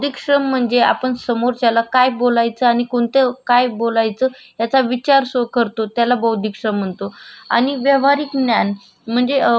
आणि वैव्हारिक न्यान म्हणजे अ ब वैव्हारिक न्यान असण्यासाठी म्हणजे अ व आपण ज्या वेडेस भाजी पाला वगरे व्हिजिटेबल आणण्यासाठी मार्केट मध्ये जातो.